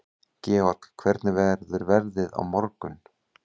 Georg, hvernig verður veðrið á morgun?